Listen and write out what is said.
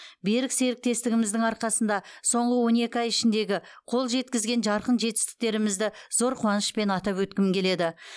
берік серіктестігіміздің арқасында соңғы он екі ай ішіндегі қол жеткізген жарқын жетістіктерімізді зор қуанышпен атап өткім келеді